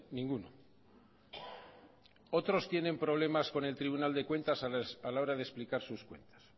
ninguno otros tienen problemas con el tribunal de cuentas a la hora de explicar sus cuentas